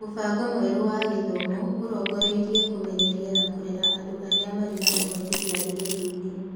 Mũbango mwerũ wa gĩthomo ũrongoreire kũmenyeria na kũrera andũ arĩa marĩ na ũhoti kĩambĩrĩriainĩ.